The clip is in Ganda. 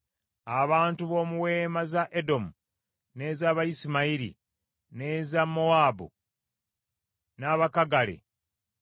Abantu b’omu weema za Edomu, n’ez’Abayisimayiri, n’eza Mowaabu, n’Abakagale;